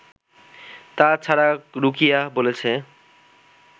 তা ছাড়া রুকিয়া বলেছে